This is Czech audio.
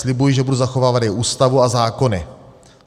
Slibuji, že budu zachovávat její Ústavu a zákony.